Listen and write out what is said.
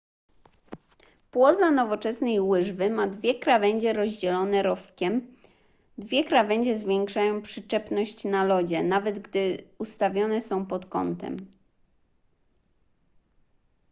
płoza nowoczesnej łyżwy ma dwie krawędzie rozdzielone rowkiem dwie krawędzie zwiększają przyczepność na lodzie nawet gdy ustawione są pod kątem